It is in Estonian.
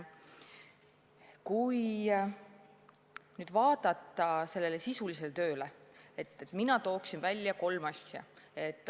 Kui nüüd vaadata tehtud sisulisele tööle, siis mina toon välja kolm asja.